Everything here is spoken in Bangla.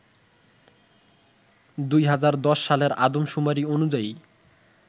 ২০১০ সালের আদমশুমারি অনুযায়ী